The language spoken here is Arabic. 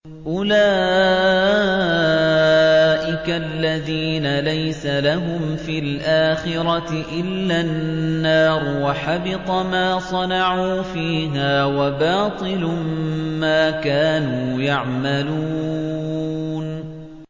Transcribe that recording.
أُولَٰئِكَ الَّذِينَ لَيْسَ لَهُمْ فِي الْآخِرَةِ إِلَّا النَّارُ ۖ وَحَبِطَ مَا صَنَعُوا فِيهَا وَبَاطِلٌ مَّا كَانُوا يَعْمَلُونَ